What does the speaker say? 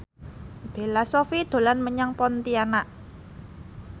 Bella Shofie dolan menyang Pontianak